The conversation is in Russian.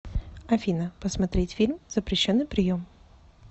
афина посмотреть фильм запрещенный прием